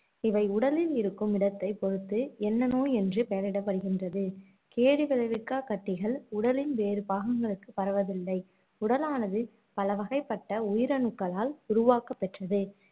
இவை உடலில் இருக்கும் இடத்தை பொறுத்து என்ன நோய் எனறு பெயரிடப்படுகின்றது. கேடு விளைவிக்கா கட்டிகள் உடலின் வேறு பாகங்களுக்கு பரவவில்லை உடலானது பலவகைப்பட்ட உயிரணுக்களால் உருவாக்கபெற்றது.